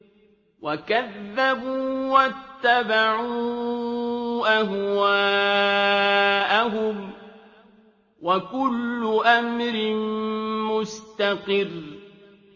وَكَذَّبُوا وَاتَّبَعُوا أَهْوَاءَهُمْ ۚ وَكُلُّ أَمْرٍ مُّسْتَقِرٌّ